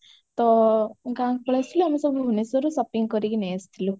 ତ ଗାଁକୁ ପଳେଇ ଆସିଲୁ ଆମେ ସବୁ ଭୁବନେଶ୍ବରରୁ shopping କରିକି ନେଇ ଆସିଯାଇଥିଲୁ